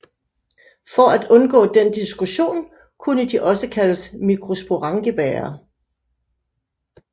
For at undgå den diskussion kune de også kaldes mikrosporangiebærere